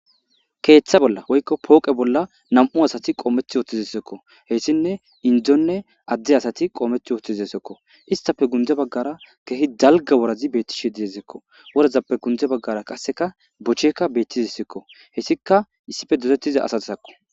keeththa bolla woykko pooqe bolla nam7u asati qoometh ooththizesekko heyssinne indzonne adde asati qoometh ooththizesekko istape gunde baggara keehi dalga worazi beettishe dizesekko worazappe gundze baggara qasseka bochekka bettizesekko hessika issife dotettiza asati sakko